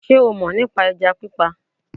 Sé o mò ní pa ẹja pípa